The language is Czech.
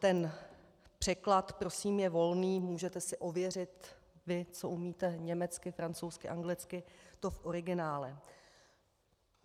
Ten překlad prosím je volný, můžete si ověřit vy, co umíte, německy, francouzsky, anglicky to v originále.